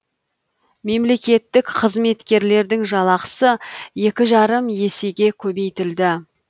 мемлекеттік қызметкерлердің жалақысы екі жарым есеге көбейтілді